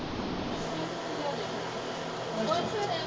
ਖੁਸ਼ ਰਹਿ